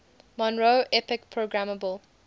monroe epic programmable